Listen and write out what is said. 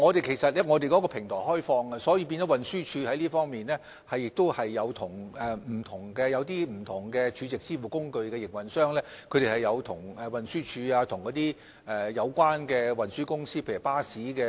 其實，我們的平台是開放的，所以運輸署亦有就此與不同儲值支付工具營運商，以及巴士等有關運輸公司討論。